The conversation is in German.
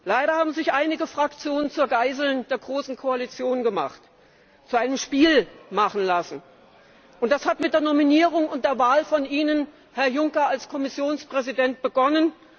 Leider haben sich einige Fraktionen zu Geiseln der großen Koalition gemacht, zu einem Spiel machen lassen, und das hat mit der Nominierung und der Wahl von Ihnen, Herr Juncker, als Kommissionspräsident begonnen.